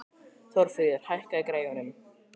Þórfríður, hækkaðu í græjunum.